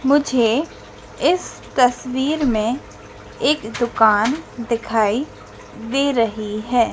मुझे इस तस्वीर में एक दुकान दिखाई दे रही है।